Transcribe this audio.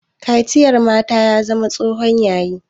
Kaciyar mata ya zama tsohon yayi